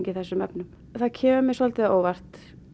þessum efnum það kemur mér svolítið á óvart